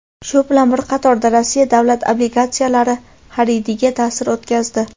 shu bilan bir qatorda Rossiya davlat obligatsiyalari xaridiga ta’sir o‘tkazdi.